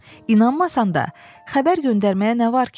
İnanmasan da, xəbər göndərməyə nə var ki?